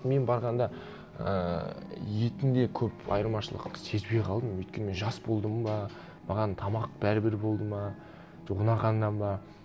мен барғанда ыыы етінде көп айырмашылық сезбей қалдым өйткені мен жас болдым ба маған тамақ бәрібір болды ма жоқ ұнағаннан ба